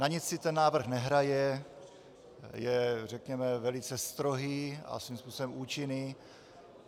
Na nic si ten návrh nehraje, je, řekněme, velice strohý a svým způsobem účinný.